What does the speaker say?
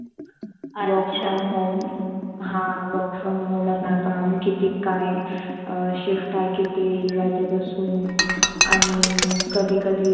work from home हा work from home च असणार काम. किती काय shift आहे किती वाजे पासून आणि अधी कधी